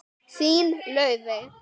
Þín, Laufey.